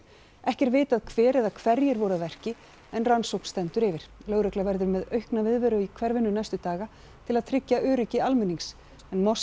ekki er vitað hver eða hverjir voru að verki en rannsókn stendur yfir lögregla verður með aukna viðveru í hverfinu næstu daga til að tryggja öryggi almennings en